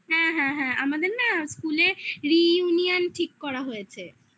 হ্যাঁ হ্যাঁ হ্যাঁ আমাদের না school এ reunion ঠিক করা হয়েছে